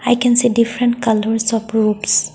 i can say different colours of roofs.